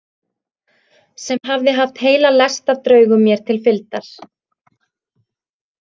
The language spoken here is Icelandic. Sem hafði haft heila lest af draugum mér til fylgdar.